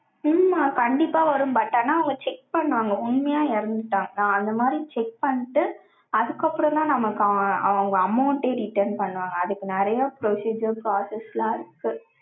உம் கண்டிப்பா வரும். but ஆனா, அவங்க check பண்ணுவாங்க. உண்மையா இறந்துட்டாங்க. அந்த மாரி, check பண்ணிட்டு, அதுக்கப்புறம்தான், நமக்கு அவங்க amount ஏ return பண்ணுவாங்க. அதுக்கு நிறைய procedure, process எல்லாம் இருக்கு.